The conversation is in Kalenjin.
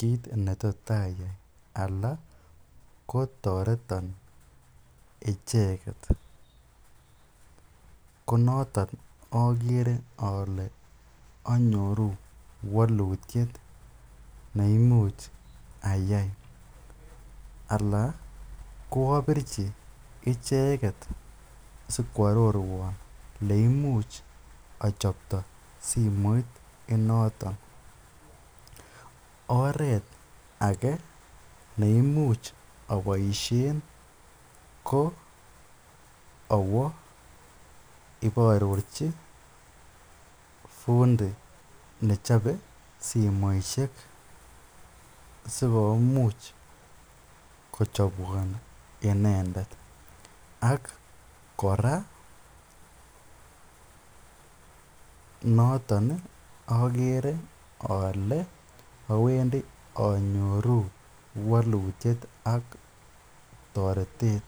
kiit netot ayai alaa kotoreton icheket, konotok okere olee onyoru wolutiet neimuch ayai alaa ko obirchi icheket sikwororwon oleimuch ochopto simoit inoton, oreet akee neimuch oboishen ko owoo iboororchi fundi nechobe simoishek sikomuch kochobwon inendet ak kora noton okere olee owendi onyoru wolutiet ak toretet.